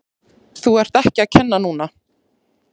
Þú ert ekki að kenna núna!